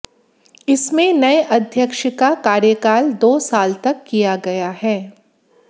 इसमें नए अध्यक्ष का कार्यकाल दो साल तय किया गया है